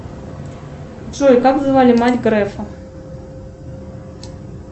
джой как звали мать грефа